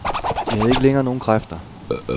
De havde ikke længere nogen kræfter.